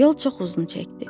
Yol çox uzun çəkdi.